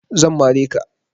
Zan mare ka